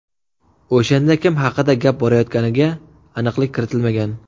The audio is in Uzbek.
O‘shanda kim haqida gap borayotganiga aniqlik kiritilmagan.